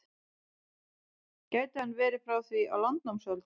Gæti hann verið frá því á landnámsöld?